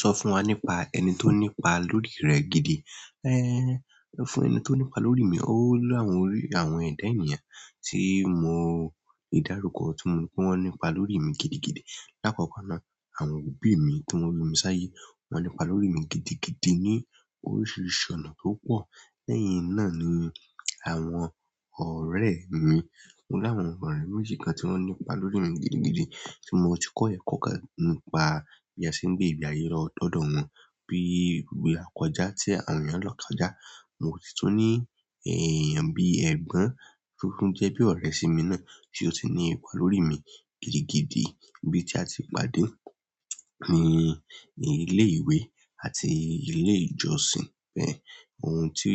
Sọ fún wa nípa ẹni tó nípa lórí rẹ gidi. Ẹ́, fún ẹni tó nípa lórí mi, ó láwọn orí àwọn ẹ̀dá ènìyàn tí mo ìdárúkọ tí wọ́n nípa lórí mi gidigidi. Lákọkọ́ ná, àwọn òbí mi tí wọ́n bí mi sáyé, wọ́n nípa lórí mi gidigidi ní oríṣiríṣi ọ̀nà tó pọ̀. Lẹ́yìn náà ni àwọn ọ̀rẹ́ mi. Mo ní àwọn ọ̀rẹ́ méjì kan tí wọ́n nípa lórí mi gidigidi tí mo ti kọ́ ẹ̀kọ́ kan nípa bí a ṣe ń gbé ìgbé ayé lọ́dọ̀ wọn bí i ìgbà kan já tí àwọn èèyàn lọ́kà já. Mo sì tún ní èèyàn bí ẹ̀gbọ́n tó tún jẹ́ bí ọ̀rẹ́ sì mi náà tí ó sì ní ipa lórí mi gidigidi bí tí a ti pàdé ní ilé ìwé àti ilé ìjọsìn bẹ́ẹ̀. Ohun tí